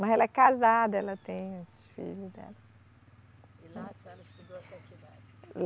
Mas ela é casada, ela tem os filhos dela. E lá a senhora estudou até que idade?